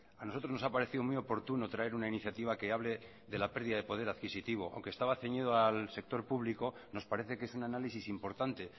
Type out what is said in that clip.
a nosotros nos ha parecido muy oportuno traer una iniciativa que hable de la pérdida de poder adquisitivo aunque estaba ceñido al sector público nos parece que es un análisis importante